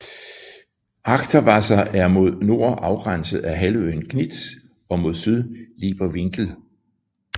Achterwasser er mod nord afgrænset af halvøen Gnitz og mod syd Lieper Winkel